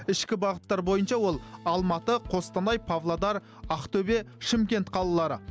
ішкі бағыттар бойынша ол алматы қостанай павлодар актөбе шымкент қалалары